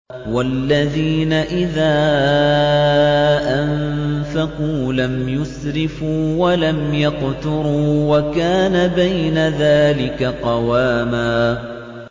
وَالَّذِينَ إِذَا أَنفَقُوا لَمْ يُسْرِفُوا وَلَمْ يَقْتُرُوا وَكَانَ بَيْنَ ذَٰلِكَ قَوَامًا